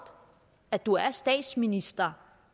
at du er statsminister